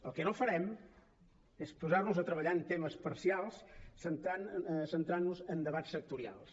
el que no farem és posar nos a treballar en temes parcials centrant nos en debats sectorials